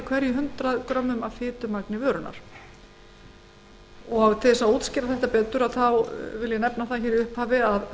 í hverjum hundrað grömmum af fitumagni vörunnar til þess að útskýra það betur vil ég nefna að